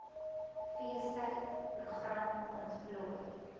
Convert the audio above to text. feestyd program ontplooi